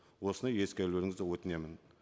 осыны ескерулеріңізді өтінемін